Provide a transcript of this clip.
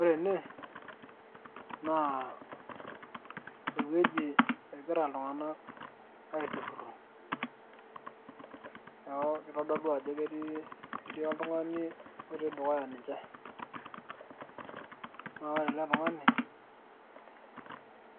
Ore ene, naa ewueji egira iltung'anak aiturrurro. Neeku kitodolu ajo kitii oltung'ani otii dukuya ninche. Na ore ele tung'ani,